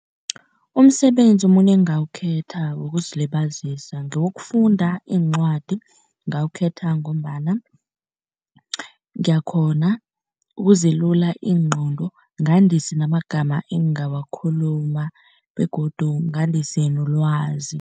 Umsebenzi omunye engingawukhetha wokuzilibazisa ngewokufunda iincwadi. Ngingawukhetha ngombana ngiyakghona ukuzilula ingqondo ngandise namagamma engingawakhuluma begodu ngandise nolwazi.